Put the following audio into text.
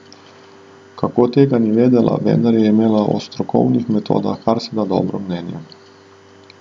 Kako, tega ni vedela, vendar je imela o strokovnih metodah karseda dobro mnenje.